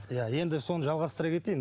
иә енді соны жалғастыра кетейін